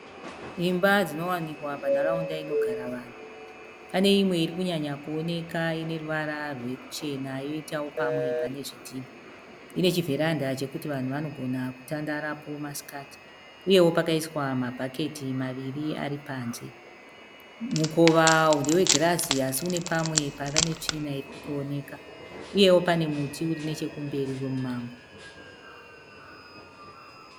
Imba dzinowanikwa panharaunda inogara vanhu. Pane imwe irikunyanya kuoneka ineruvara rwechena yoitawo pamwe pane zvidhinha. Ine chivheranda chekuti vanhu vanogona kutandarapo masikati uyewo pakaiswa mabhaketi maviri ari panze. Mukova ndewegirazi asi une pamwe pava netsvina irikutooneka uyewo pane muti uri nechekumberi wemumango.